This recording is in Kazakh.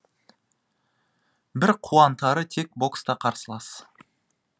бір қуантары тек бокста қарсылас